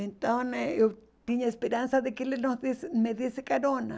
Então eh eu tinha esperança de que ele nos desse me desse carona.